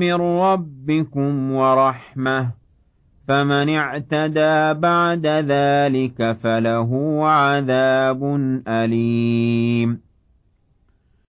مِّن رَّبِّكُمْ وَرَحْمَةٌ ۗ فَمَنِ اعْتَدَىٰ بَعْدَ ذَٰلِكَ فَلَهُ عَذَابٌ أَلِيمٌ